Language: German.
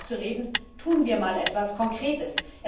Hören wir auf zu reden, tun wir mal etwas Konkretes!